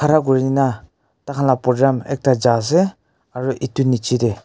na kuri na tah khan lah projam ekta ja ase aru etu nicche teh--